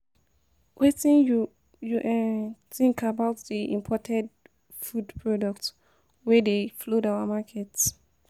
Wetin you you um think about di imported um food products wey dey flood our markets?